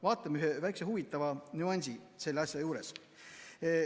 Vaatame väikest huvitavat nüanssi selle asja juures.